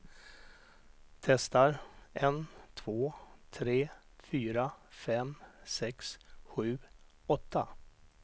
Testar en två tre fyra fem sex sju åtta.